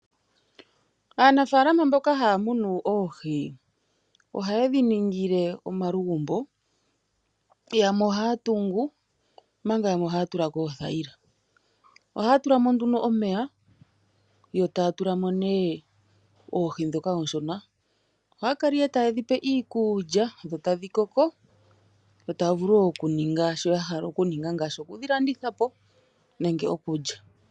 Aanafaalama mboka haa munu oohi ohaye dhi ningile omalugumbo yamwe ohaa tungu, omanga yamwe ohaya tula ko oothaila. Ohaya tula mo nduno omeya yo taa tula mo nee oohi ndhoka ooshona. Ohaa kala ihe taye dhi pe iikulya dho tadhi koko yo taya vulu wo okuningi sho ya hala okuninga ngaashi okudhi landitha po nenge okulya.